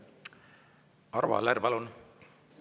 Arvo Aller, palun!